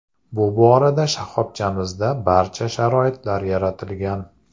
Bu borada shoxobchamizda barcha sharoitlar yaratilgan.